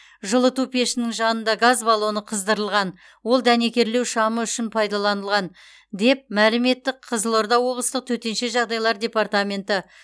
жылыту пешінің жанында газ баллоны қыздырылған ол дәнекерлеу шамы үшін пайдаланылған деп мәлім етті қызылорда облыстық төтенше жағдайлар департаменті